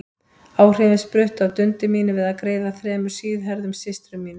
Áhrifin spruttu af dundi mínu við að greiða þremur síðhærðum systrum mínum.